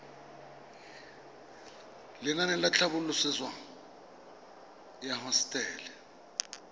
lenaane la tlhabololosewa ya hosetele